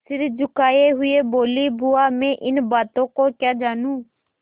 सिर झुकाये हुए बोलीबुआ मैं इन बातों को क्या जानूँ